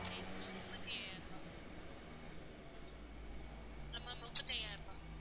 சேர்த்து ma'am முப்பத்தி ஐயாயிரம் ரூபாய் hello ma'am முப்பத்தி ஐயாயிரம் ரூபாய்.